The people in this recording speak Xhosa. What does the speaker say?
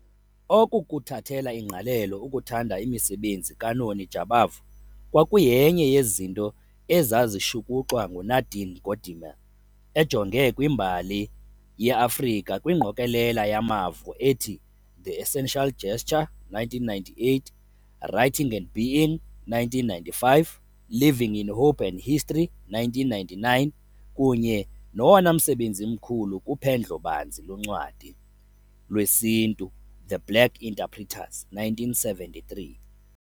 Oku kuthathela ingqalelo ukuthanda imisebenzi kaNoni Jabavu kwakuyenye yezinto ezazishukuxwa nguNadine Gordimer ejonge kwimbali yeAfrika kwingqokelela yamavo ethi The Essential Gesture, 1998, Writing and Being, 1995, Living in Hope and History, 1999, kunye nowonamsebenzi mkhulu kuphendlo-banzi loncwadi lwesiNtu, The Black Interpreters, 1973.